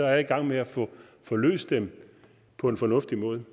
er i gang med at få løst dem på en fornuftig måde